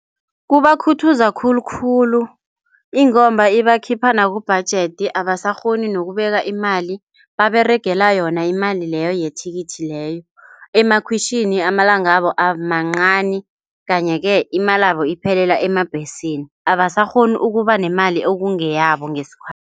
Kubakhuthaza khulukhulu ingomba ibakhipha kubhajethi abasakghoni nokubeka imali. Baberegela yona imali leyo yethikithi leyo. Emakhwitjhini amalangabo amancani kanye-ke imalabo iphelela eembhesini. Abasakghoni ukubanemali ekungeyabo ngesikhathi.